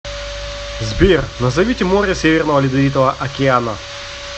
сбер назовите море северного ледовитого океана